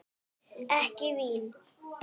Ekki vín?